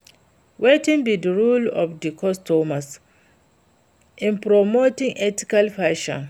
Wetin be di role of di consumer in promoting ethical fashion?